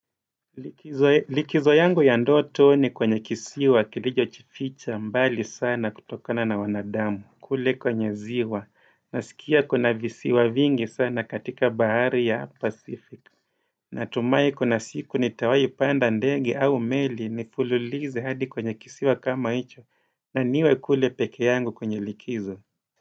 Likizo yangu ya ndoto ni kwenye kisiwa kilicho jificha mbali sana kutokana na wanadamu kule kwenye ziwa na sikia kuna visiwa vingi sana katika bahari ya pacific natumai kuna siku ni tawai panda ndege au meli nifululize hadi kwenye kisiwa kama hicho na niwe kule peke yangu kwenye likizo.